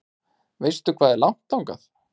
Veistu hvað er langt þangað?